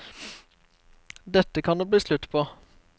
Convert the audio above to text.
Dette kan det bli slutt på.